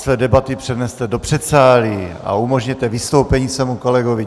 Své debaty přeneste do předsálí a umožněte vystoupení svému kolegovi.